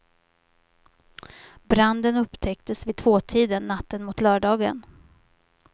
Branden upptäcktes vid tvåtiden natten mot lördagen.